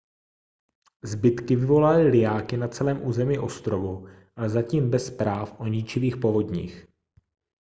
zbytky vyvolaly lijáky na celém území ostrovů ale zatím bez zpráv o ničivých povodních